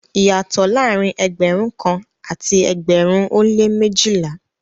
Iyàtọ̀ laárín ẹgbẹ̀rún kàn àti ẹgbẹ̀rún o lẹ́ méjìlà.